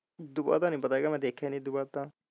ਉਦੋਂ ਬਾਅਦ ਦਾ ਨਹੀਂ ਪਤਾ ਦੇਖਿਆ ਨਹੀਂ ਮੈਂ ਉਦੋਂ ਬਾਅਦ ਦਾ।